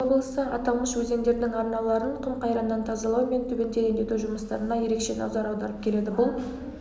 алматы облысы аталмыш өзендердің арналарын құм-қайраннан тазалау мен түбін тереңдету жұмыстарына ерекше назар аударып келеді бұл